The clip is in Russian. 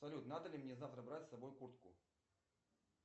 салют надо ли мне завтра брать с собой куртку